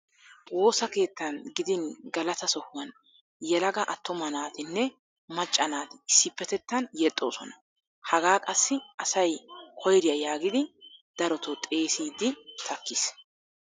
Woosa keettan gidin galataa sohuwan yelaga attuma naatinne macca naati issippetettan yexxoosona. Hagaa qassi asay koyriya yaagidi darotoo xeesiiddi takkiis.